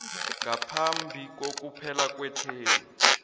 ngaphambi kokuphela kwethemu